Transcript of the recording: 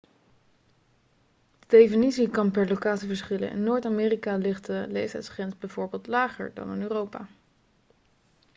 de definitie kan per locatie verschillen in noord-amerika ligt de leeftijdsgrens bijvoorbeeld lager dan in europa